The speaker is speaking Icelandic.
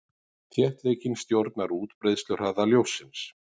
Þéttleikinn stjórnar útbreiðsluhraða ljóssins.